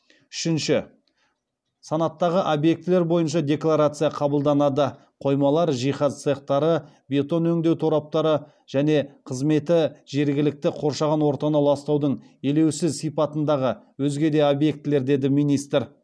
үшінші санаттағы объектілер бойынша декларация қабылданады деді министр